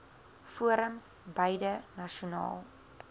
forums beide nasionaal